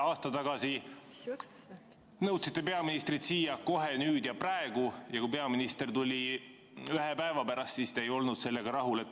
Aasta tagasi nõudsite peaministrit siia kohe, nüüd ja praegu, ja kui peaminister tuli ühe päeva pärast, siis te ei olnud sellega rahul.